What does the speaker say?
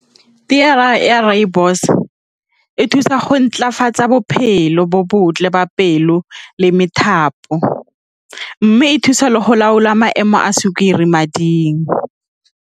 Tee ya rooibos e thusa go ntlafatsa bophelo bo botle ba pelo le methapo, mme e thusa le go laola maemo a sukiri mading.